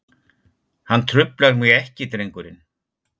Hann truflar mig ekki drengurinn.